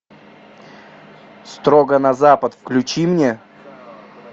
строго на запад включи мне